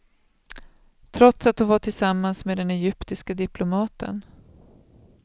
Trots att hon var tillsammans med den egyptiske diplomaten.